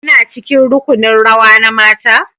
Kuna cikin rukunin rawa na mata?